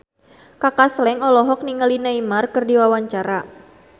Kaka Slank olohok ningali Neymar keur diwawancara